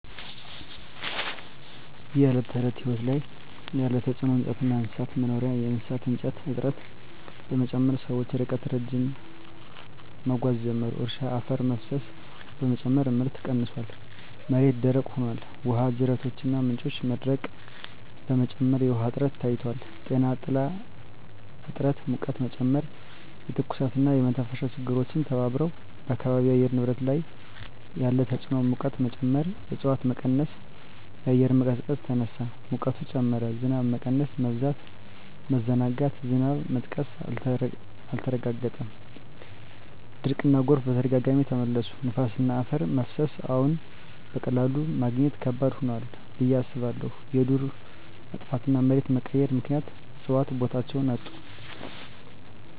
በዕለት ተዕለት ሕይወት ላይ ያለ ተጽዕኖ እንጨትና እንስሳት መኖሪያ የእሳት እንጨት እጥረት በመጨመር ሰዎች ርቀት ረዥም መጓዝ ጀመሩ። እርሻ አፈር መፍሰስ በመጨመር ምርት ቀንሷል፣ መሬት ደረቅ ሆኗል። ውሃ ጅረቶችና ምንጮች መድረቅ በመጨመር የውሃ እጥረት ታይቷል። ጤና ጥላ እጥረት ሙቀትን ጨመረ፣ የትኩሳትና የመተንፈሻ ችግሮች ተባብረዋል። በአካባቢው የአየር ንብረት ላይ ያለ ተጽዕኖ ሙቀት መጨመር እፅዋት በመቀነስ አየር መቀዝቀዝ ተነሳ፣ ሙቀት ጨመረ። ዝናብ መቀነስ/መበዛት መዘናጋት ዝናብ መጥቀስ አልተረጋገጠም፣ ድርቅና ጎርፍ በተደጋጋሚ ተመለሱ። ነፋስና አፈር መፍሰስ አዎን፣ በቀላሉ ማግኘት ከባድ ሆኗል ብዬ አስባለሁ። የዱር መጥፋትና መሬት መቀየር ምክንያት እፅዋት ቦታቸውን አጡ።